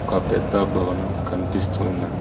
ఒక పెద్ద భవనం కనిపిస్తు ఉన్నది.